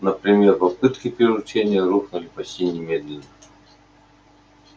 например попытки приручения рухнули почти немедленно